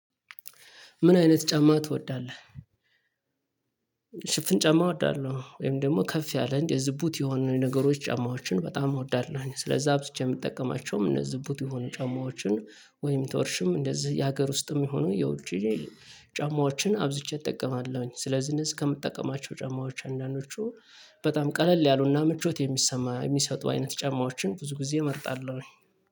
ምን አይነት ጫማ ትወዳለህ? ሽፍን ጫማ እወዳለሁ ወይም ደግሞ ከፍ ያለ እንዴ ዝቡት የሆኑ ነገሮች ጫማዎችን በጣም እወዳለሁኝ። ስለዛ አብዝቼ የምጠቀማቸውም እነዚህ ዝቡት የሆኑ ጫማዎችን ወይም ቶርሽን እንደዚህ የሀገር ውስጥም የሆኑ የውጪ ጫማዎችን አብዝቼ እጠቀማለሁኝ። ስለዚህ እነዚህ ከምጠቀማቸው ጫማዎች አንዳንዶቹ በጣም ቀለል ያሉና ምቾት የሚሰማ የሚሰጡ አይነት ጫማዎችን ብዙ ጊዜ እመርጣለሁ